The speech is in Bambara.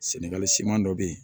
Sɛnɛgali siman dɔ bɛ yen